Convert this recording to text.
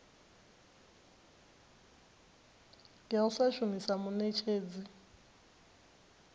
ya u sa shumisa muṋetshedzi